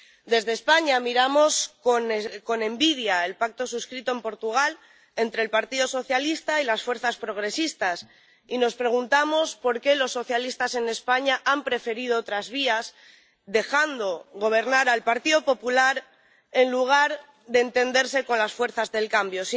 Desde España, miramos con envidia el pacto suscrito en Portugal entre el Partido Socialista y las fuerzas progresistas, y nos preguntamos por qué los socialistas en España han preferido otras vías, dejando gobernar al Partido Popular en lugar de entenderse con las fuerzas del cambio.